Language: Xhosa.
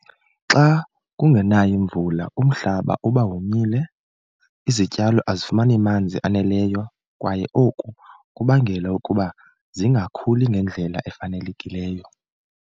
Xa kungenayo imvula umhlaba uba womile izityalo azifumani manzi aneleyo kwaye oku kubangela ukuba zingakhuli ngendlela efanelekileyo.